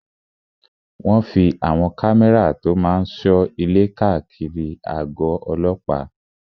Wọ́n fí àwọn kámẹ́rà tó máa n sọ ilé káàkiri àgọ̀ ọlọ́pàá